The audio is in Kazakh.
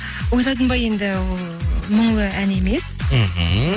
ойладың ба енді ол мұңлы ән емес мхм